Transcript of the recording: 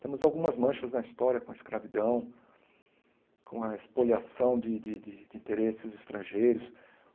Temos algumas manchas na história com a escravidão, com a espoliação de de de interesses estrangeiros.